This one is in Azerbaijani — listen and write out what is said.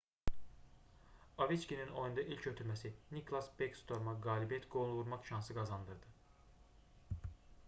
oveçkinin oyunda ilk ötürməsi niklas bekstorma qalibiyyət qolunu vurmaq şansı qazandırdı